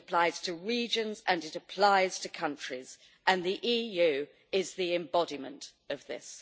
it applies to regions and it applies to countries, and the EU is the embodiment of this.